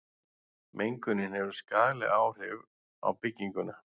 mengunin hefur skaðleg áhrif á bygginguna